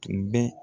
Tun bɛ